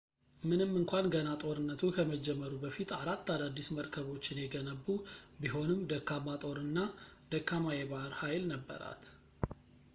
ምንም እንኳን ገና ጦርነቱ ከመጀመሩ በፊት አራት አዳዲስ መርከቦችን የገነቡ ቢሆንም ደካማ ጦር እና ደካማ የባህር ኃይል ነበራት